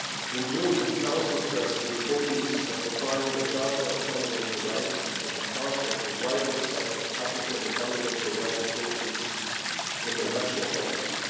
In June, the Council stressed the importance of applying the Charter of Fundamental Rights as a part of the wider set of applicable fundamental rights sources in the national context.